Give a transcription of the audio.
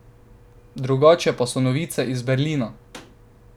Drugačne pa so novice iz Berlina.